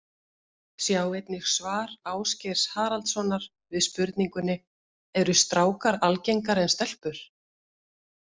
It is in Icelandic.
Sjá einnig svar Ásgeirs Haraldssonar við spurningunni Eru strákar algengari en stelpur?